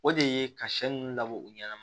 O de ye ka sɛ ninnu labɔ u ɲana